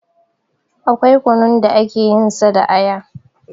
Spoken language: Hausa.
Akwai kunun da ake yin sa da aya